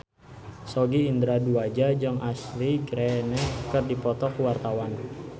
Sogi Indra Duaja jeung Ashley Greene keur dipoto ku wartawan